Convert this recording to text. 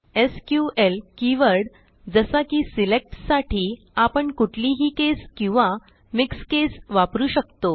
SQL keyword जसा की SELECTसाठी आपण कुठलीही केस किंवा मिक्स केस वापरू शकतो